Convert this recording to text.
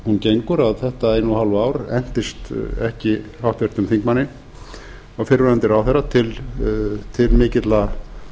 hún gengur þetta eina og hálfa ár entist ekki háttvirtum þingmanni og fyrrverandi ráðherra til mikilla